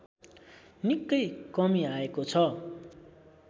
निकै कमी आएको छ